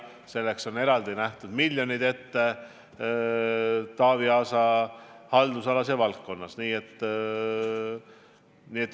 Selleks on ette nähtud eraldi miljonid Taavi Aasa haldusalas ja valdkonnas.